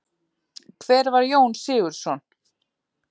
Hver var Jón Sigurðsson?